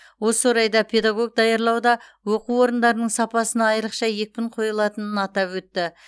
осы орайда педагог даярлауда оқу орындарының сапасына айрықша екпін қойылатынын атап өтті